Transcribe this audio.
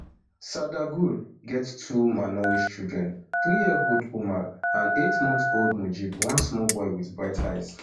sardar gul get two malnourished children three year old umar and eight month old mujib one small boy wit bright eyes